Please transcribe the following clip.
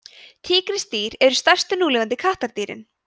tígrisdýr eru stærstu núlifandi kattardýrin